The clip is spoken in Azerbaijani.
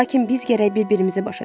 Lakin biz gərək bir-birimizi başa düşək.